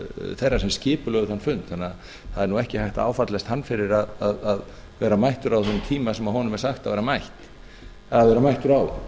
þeirra sem skipulögðu þann fund þannig að það er ekki hægt að áfellast hann fyrir að vera mættur á þeim tíma sem honum er sagt að vera mættur á